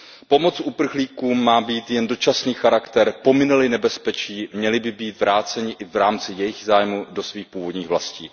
Pomoc uprchlíkům má mít jen dočasný charakter, pomine li nebezpečí, měli by být vráceni i v rámci jejich zájmu do svých původních vlastí.